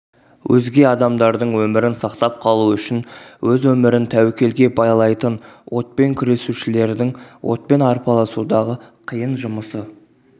өзге адамдардың өмірін сақтап қалу үшін өз өмірін тәуекелге байлайтын отпен күресушілердің отпен арпалысудағы қиын жұмысы